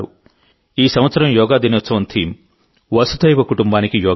ఈ సంవత్సరం యోగా దినోత్సవం థీమ్ వసుధైవ కుటుంబానికి యోగా